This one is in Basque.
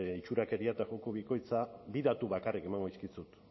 itxurakeria eta joko bikoitza bi datu bakarrik emango dizkizut